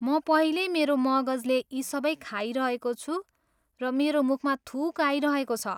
म पहिल्यै मेरो मगजले यी सबै खाइरहेको छु र मेरो मुखमा थुक आइरहेको छ।